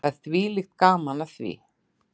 Það er þvílíkt gaman af því.